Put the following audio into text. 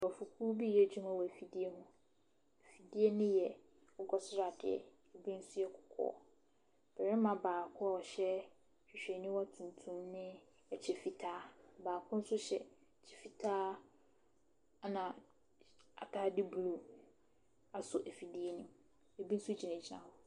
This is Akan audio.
Nkurɔfokuo bi reyɛ adwuma wɔ afidie ho, afidie ne yɛ akokɔsradeɛ, bi nso yɛ kɔkɔɔ. barima baako a ɔhyɛ hwehwɛniwa tuntum ne kyɛ fitaa, baako nso hyɛ kyɛ fitaa na ataade blue asɔ afidie ne mu, bi nso gyinagyina hɔ.